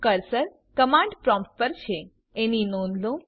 cursor command prompt પર છે એની નોંધ લો